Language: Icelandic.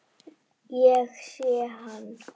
Ég sé hann.